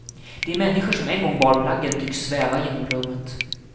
De människor som en gång bar plaggen tycks sväva genom rummet.